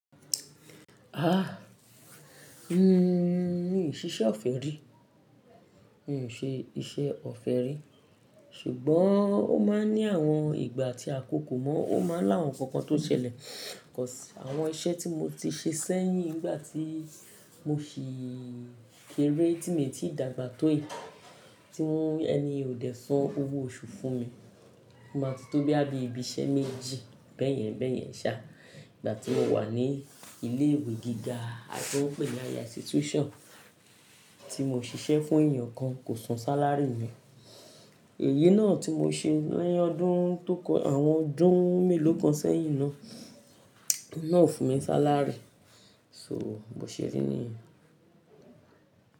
Ha! N o ṣe iṣẹ́ ọ̀fẹ́ rí, n kò ṣe iṣẹ́ ọ̀fẹ́ rí ṣùgbọ́n ó máa ń ní àwọn ìgbà tí a kò kò mọ́, ó máa ń lá àwọn nkankan tó ṣẹlẹ̀. Àwọn iṣẹ́ tí mo ti ṣe sẹ́yìn nígbà tí mo ṣì kéré tímìtì dàgbà tó yìí tí ẹni yẹn ò dé san owó oṣù fún mi. Mo máa ti tó bí i ibi iṣẹ́ méjì bẹ́ẹ̀yẹn bẹ́ẹ̀yẹn ṣá. Ìgbà tí mo wà ní ilé ìwé gíga, àbí wọ́n pè é ní higher institution tí mo ṣiṣẹ́ fún èèyàn kan kò san sálárì mi. Èyí náà tí mo ṣe lẹ́yìn ọdún tókọ àwọn ọdún mélòó kan sẹ́yìn náà, ọkùnrin náà ò fún mi sálárì, so mo ṣeré ni.